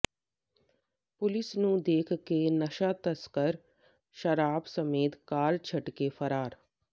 police ਨੂੰ ਦੇਖ ਕੇ ਨਸ਼ਾ ਤਸਕਰ ਸ਼ਰਾਬ ਸਮੇਤ ਕਾਰ ਛੱਡ ਕੇ ਫਰਾਰ